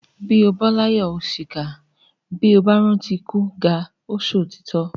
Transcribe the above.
Bó o láyà o ṣìkà, bó o rántí ikú Gáà o ṣòtítọ́.